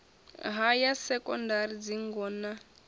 ha ya sekondari dzingo na